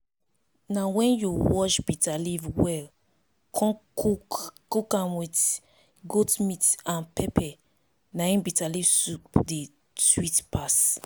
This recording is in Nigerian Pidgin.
na wen you wash bitter leaf well con cook am with goat meat and pepper na im bitterleaf soup take dey sweet pass